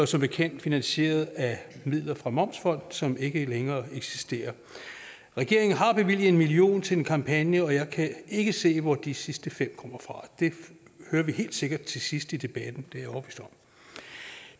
som bekendt finansieret af midler fra momsfonden som ikke længere eksisterer regeringen har bevilget en million kroner til en kampagne og jeg kan ikke se hvor de sidste fem million kommer fra det hører vi helt sikkert til sidst i debatten